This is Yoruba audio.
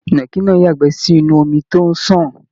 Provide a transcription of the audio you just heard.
Ìnàkí náà yagbẹ́ sínú omi tó n sàn.